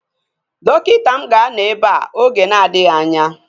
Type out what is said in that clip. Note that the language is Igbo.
Dọkịta gị ga-anọ ebea oge na-adịghị anya